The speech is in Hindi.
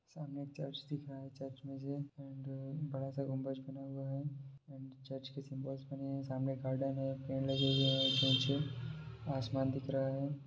सामने एक चर्च दिख रहा है चर्च में से एंड बड़ा-सा गुंबज बना हुआ है एंड चर्च के सिम्बॉल्स बने हैं सामने एक गार्डन है पेड़ लगे हुए हैं और आसमान दिख रहा है।